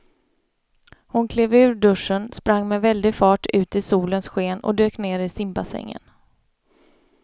Hon klev ur duschen, sprang med väldig fart ut i solens sken och dök ner i simbassängen.